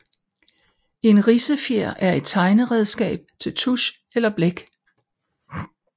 En ridsefjer er et tegneredskab til tusch eller blæk